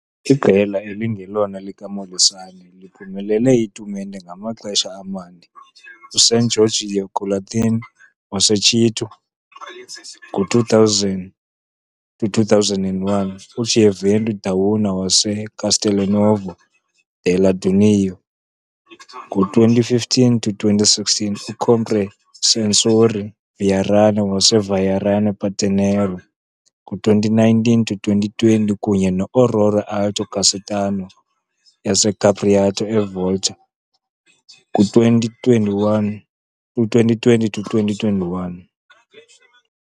Iqela elingelona likaMolisan liphumelele itumente amaxesha amane- uSan Giorgio Collathia waseChieuti ngo-2000-01, uGioventù Dauna waseCastelnuovo della Daunia ngo-2015-16, uComprensorio Vairano waseVairano Patenora ngo-2019- I-20 kunye ne-Aurora Alto Casertano yaseCapriati iVolturno ku-2021 kwi-2020-21.